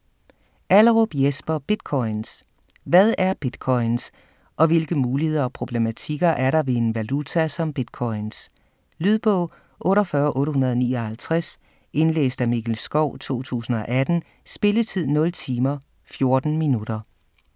Allerup, Jesper: Bitcoins Hvad er bitcoins, og hvilke muligheder og problematikker er der ved en valuta som bitcoins. Lydbog 48859 Indlæst af Mikkel Schou, 2018. Spilletid: 0 timer, 14 minutter.